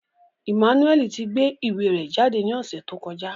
Emmanuel ti gbe iwe rẹ jade ni ọsẹ to kọja